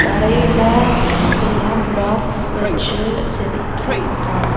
தரையில்ல சில பிளாக்ஸ் வச்சு செதுக்கி இருக்காங்.